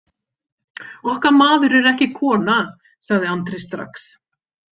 Okkar maður er ekki kona, sagði Andri strax.